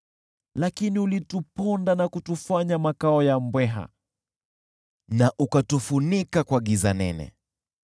Lakini ulituponda na kutufanya makao ya mbweha, na ukatufunika kwa giza nene.